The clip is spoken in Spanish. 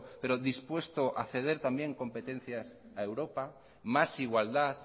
pero dispuesto a ceder también competencias a europa más igualdad